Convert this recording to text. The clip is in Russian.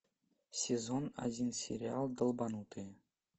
сезон один сериал долбанутые